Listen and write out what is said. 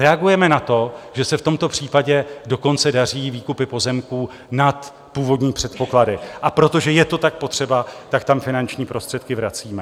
Reagujeme na to, že se v tomto případě dokonce daří výkupy pozemků nad původní předpoklady, a protože je to tak potřeba, tak tam finanční prostředky vracíme.